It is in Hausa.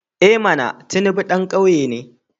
I mana! Tinubu dan kwaya ne.